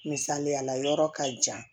Misaliya la yɔrɔ ka jan